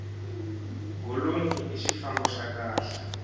golonyi i xifambo xa kahle